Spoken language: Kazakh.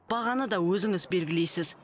бағаны да өзіңіз белгілейсіз